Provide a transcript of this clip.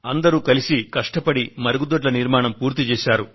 అందరూ కష్టపడి మరుగుదొడ్ల నిర్మాణాన్ని పూర్తి చేశారు